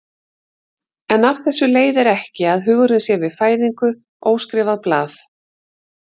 En af þessu leiðir ekki að hugurinn sé við fæðingu óskrifað blað.